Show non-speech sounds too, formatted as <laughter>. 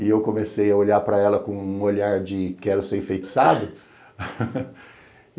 E eu comecei a olhar para ela com um olhar de quero ser enfeitiçado. <laughs>